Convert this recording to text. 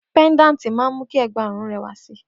Pendanti ṣe awọn egbaorun wo diẹ lẹwa